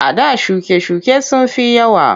A da shuke-shuke sun fi yawa.